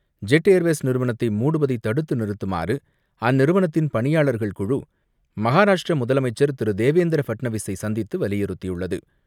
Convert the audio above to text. Jet Airways நிறுவனத்தை மூடுவதை தடுத்து நிறுத்துமாறு அந்நிறுவனத்தின் பணியாளர்கள் குழு மஹாராஷ்ட்ர முதலமைச்சர் திரு தேவேந்திர பட்னவிஸை சந்தித்து வலியுறுத்தியுள்ளது.